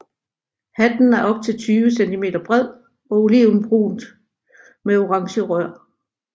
Hatten er op til 20 cm bred og olivenbrun med orange rør